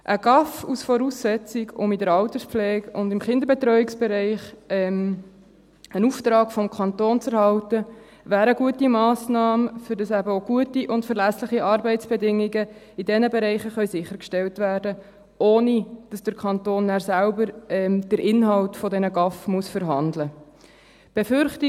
Ein GAV als Voraussetzung, um in der Alterspflege und im Kinderbetreuungsbereich einen Auftrag des Kantons zu erhalten, wäre eine gute Massnahme, damit eben auch gute und verlässliche Arbeitsbedingungen in diesen Bereichen sichergestellt werden können, ohne dass der Kanton nachher selber den Inhalt dieser GAV verhandeln muss.